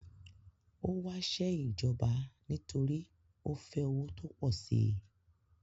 Ó wásẹ́ ìjọba nítorí ó fẹ́ owó tó pọ̀ si